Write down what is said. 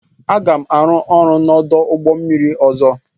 Aga m arụ ọrụ n'ọdụ ụgbọ mmiri ọzọ.